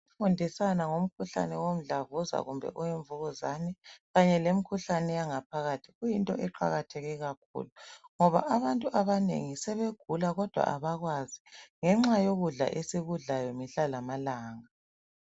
Kufundiswana ngomkhuhlane womdlavuzo kumbe owemvukuzane kanye lemkhuhlane eyangaphalathia Kuyinto eqakatheke kakhulu ngoba abantu abanengi sebegula kodwa abakwazi ngenxa yokudla esikudlayo mihla lamalanga